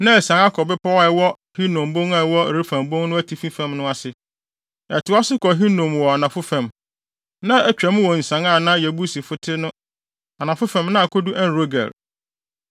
na asian akɔ bepɔw a ɛwɔ Hinom bon a ɛwɔ Refaim bon no atifi fam no ase. Ɛtoa so kɔ Hinom wɔ anafo fam, na atwam wɔ nsian a na Yebusifo te no anafo fam na akodu En-Rogel.